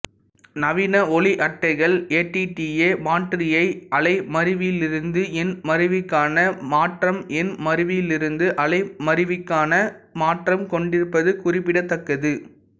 நவீன ஒலி அட்டைகள் ஏடிடிஏ மாற்றியைக் அலைமருவியிலிருந்து எண்மருவிக்கான மாற்றம்எண்மருவியிலிருந்து அலைமருவிக்கான மாற்றம் கொண்டிருப்பது குறிப்பிடத்தக்கது